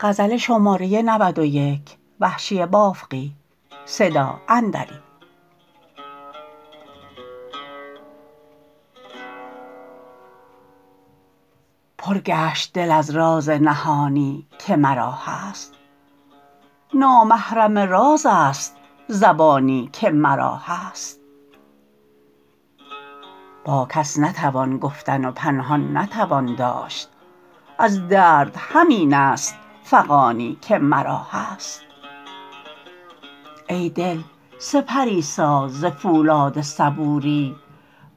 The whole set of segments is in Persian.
پر گشت دل از راز نهانی که مرا هست نامحرم راز است زبانی که مرا هست با کس نتوان گفتن و پنهان نتوان داشت از درد همین است فغانی که مرا هست ای دل سپری ساز ز پولاد صبوری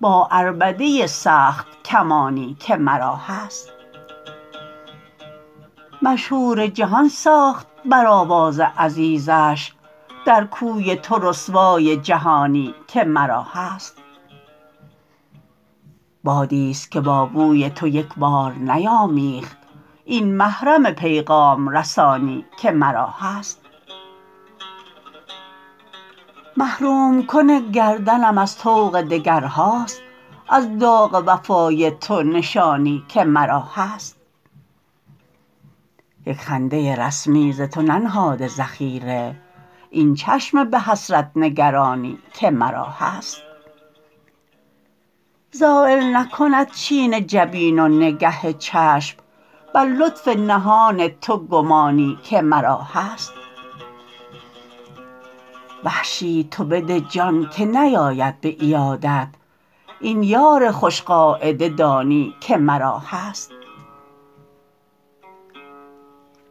با عربده سخت کمانی که مرا هست مشهور جهان ساخت بر آواز عزیزش در کوی تو رسوای جهانی که مرا هست بادیست که با بوی تو یک بار نیامیخت این محرم پیغام رسانی که مرا هست محروم کن گردنم از طوق دگرهاست از داغ وفای تو نشانی که مرا هست یک خنده رسمی ز تو ننهاده ذخیره این چشم به حسرت نگرانی که مرا هست زایل نکند چین جبین و نگه چشم بر لطف نهان تو گمانی که مرا هست وحشی تو بده جان که نیاید به عیادت این یار خوش قاعده دانی که مرا هست